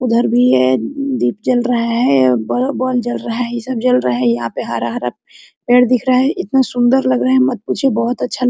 उधर भी है दीप जल रहा है और बा बॉन जल रहा है ये सब जल रहा है यहां पर हरा - हरा पेड़ दिख रहा है इतना सुंदर लग रहा है मत पूछिए बहुत अच्छा --